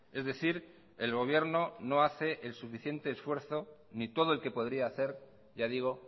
es decir el gobierno no hace el suficiente esfuerzo ni todo el que podría hacer ya digo